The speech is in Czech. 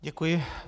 Děkuji.